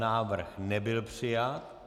Návrh nebyl přijat.